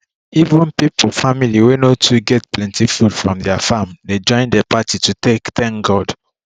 even pipo family wey no too get plenty food from their farm dey join the party to take thank god